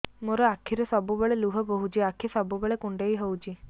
ମୋର ଆଖିରୁ ସବୁବେଳେ ଲୁହ ବୋହୁଛି ଆଖି ସବୁବେଳେ କୁଣ୍ଡେଇ ହଉଚି